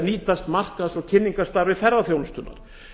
nýtast markaðs og kynningarstarfi ferðaþjónustunnar